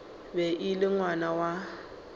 be e le ngwana wa